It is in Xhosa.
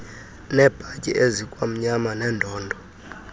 nebhatyi ezikwamnyama neendondo